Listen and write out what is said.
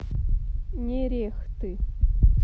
нерехты